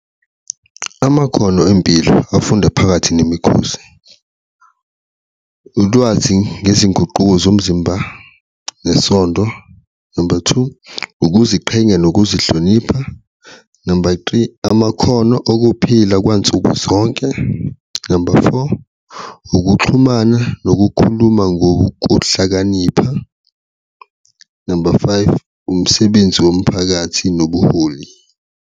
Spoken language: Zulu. Amakhono empilo afunda phakathi nemikhosi, ulwazi ngezinguquko zomzimba nesondo, number two, ukuziqhenya nokuzihlonipha, number three, amakhono okuphila kwansuku zonke, number four, ukuxhumana nokukhuluma ngokuhlakanipha, number five, umsebenzi womphakathi nobuholi.